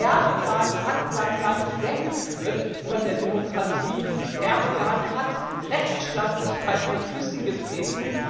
Erdogan hat sein Land weggeführt von der Demokratie, Erdogan hat Rechtsstaatlichkeit mit Füssen getreten.